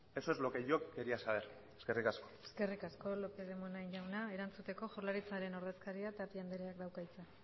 eso es lo que yo quería saber eskerrik asko eskerrik asko lópez de munain jauna erantzuteko jaurlaritzaren ordezkaria tapia andereak dauka hitza